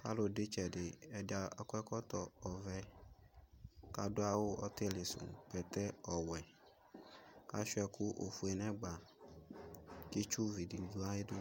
kalʋdu itsɛdi kalu du itsɛdi ɛdi akɔɛkɔtɔ ɔvɛ kaduawu ɔtilisu bɛtɛ ɔwɛ kashua ɛkʋ ofuele neɛgba ke itsuvi didu ayɛdu